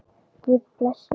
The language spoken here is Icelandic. Guð blessi ykkur.